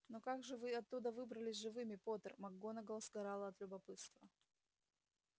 но как же вы оттуда выбрались живыми поттер макгонагалл сгорала от любопытства